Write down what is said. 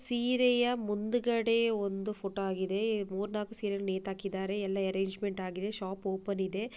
ಸೀರೆಯ ಮುಂದುಗಡೆ ಒಂದು ಫೋಟೋ ಆಗಿದೆ ಈ ಮೂರ್ ನಾಲ್ಕ್ ಸೀರೆಗಳ್ ನೇತಾಕಿದರೆ ಎಲ್ಲ ಎರ್ರನ್ಗೆಮೆಂಟ್ ಆಗಿದೆ ಶಾಪ್ ಓಪನ್ ಇದೆ.